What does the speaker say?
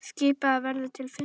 Skipað verður til fimm ára.